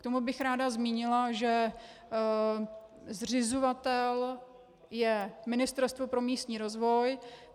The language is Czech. K tomu bych ráda zmínila, že zřizovatel je Ministerstvo pro místní rozvoj.